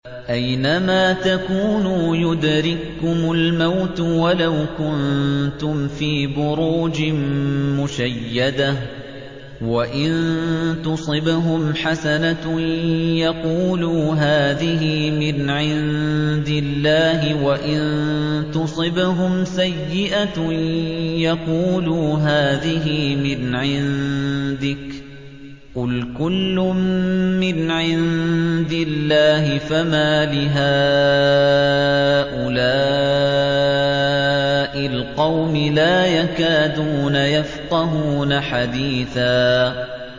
أَيْنَمَا تَكُونُوا يُدْرِككُّمُ الْمَوْتُ وَلَوْ كُنتُمْ فِي بُرُوجٍ مُّشَيَّدَةٍ ۗ وَإِن تُصِبْهُمْ حَسَنَةٌ يَقُولُوا هَٰذِهِ مِنْ عِندِ اللَّهِ ۖ وَإِن تُصِبْهُمْ سَيِّئَةٌ يَقُولُوا هَٰذِهِ مِنْ عِندِكَ ۚ قُلْ كُلٌّ مِّنْ عِندِ اللَّهِ ۖ فَمَالِ هَٰؤُلَاءِ الْقَوْمِ لَا يَكَادُونَ يَفْقَهُونَ حَدِيثًا